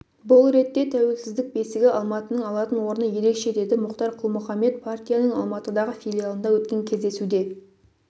бұл ретте тәуелсіздік бесігі алматының алатын орны ерекше деді мұхтар құл-мұхаммед партияның алматыдағы филиалында өткен кездесуде